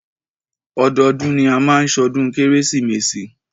Ọdọọdún ni a máa má ṣọdún kérésìmesì.